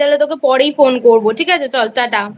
তাহলে তোকে পরেই Phone করব ঠিক আছে চল Tata